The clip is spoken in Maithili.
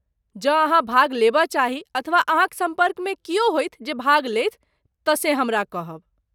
जँ अहाँ भाग लेबय चाही, अथवा अहाँक सम्पर्कमे क्यो होथि जे भाग लेथि, तँ से हमरा कहब।